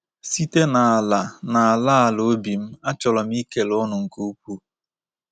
Site n’ala n’ala ala obi m, achọrọ m ikele unu nke ukwuu.”